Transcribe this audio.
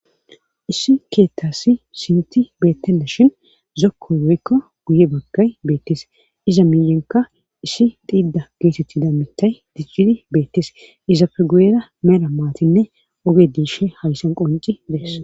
issi keettasi sinti beettenna shin zokko beykko guye baggay beettis iza miyenka issi xiida geetetti da mitay dicjidi beettis izapfe guyera meera maatinne oge diishe haysan qonci dees